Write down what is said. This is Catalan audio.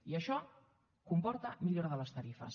i això comporta millora de les tarifes